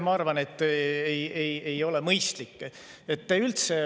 Ma arvan, et see ei ole mõistlik.